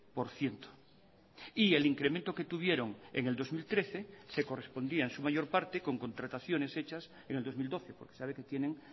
por ciento y el incremento que tuvieron en el dos mil trece se correspondía en su mayor parte con contrataciones hechas en el dos mil doce porque sabe que tienen